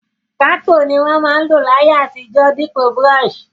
Pákò ni won ma n lò láyé àtijó dípò brush